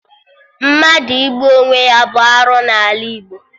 Mmadụ igbu onwe ya bụ arụ n'ala Igbo